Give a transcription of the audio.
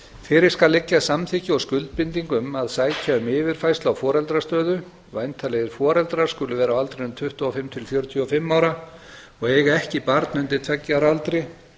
fyrir skal liggja samþykki og skuldbinding um að sækja um yfirfærslu á foreldrastöðu væntanlegir foreldrar skulu vera á aldrinum tuttugu og fimm til fjörutíu og fimm ára og eiga ekki barn undir tveggja ára aldri